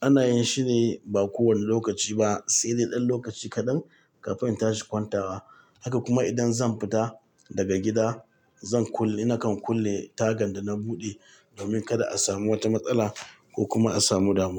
ana yin shi ne ba kowane lokaci ba, sai na ɗan lokaci kaɗan kafin in tashi kwantawa. Haka kuma idan zan fita daga gida zan kulle, nakan kulle tagan da na buɗe domin kada a samu wata matsala ko kuma a samu damuwa.